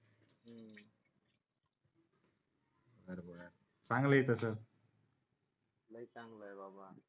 चांगला आहे तसं लय चांगलं आहे बाबा